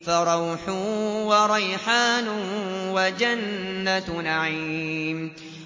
فَرَوْحٌ وَرَيْحَانٌ وَجَنَّتُ نَعِيمٍ